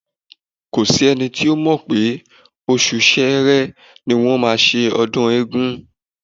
Kò s’ẹ́ni tó mọ̀ pé oṣù Ṣẹẹrẹ ni wọ́n máa ṣe ọdún Ògún.